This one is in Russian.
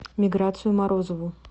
миграцию морозову